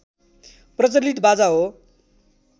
प्रचलित बाजा हो